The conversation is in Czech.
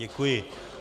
Děkuji.